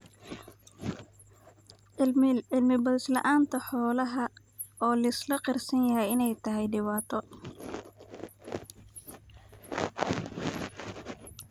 Cilmi baadhis la�aanta xoolaha oo la isla qirsan yahay in ay tahay dhibaato.